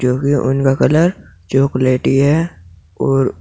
का कलर चॉकलेटी है और--